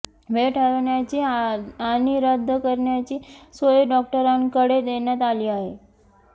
वेळ ठरवण्याची आणि रद्द करण्याची सोय डॉक्टरांकडे देण्यात आली आहे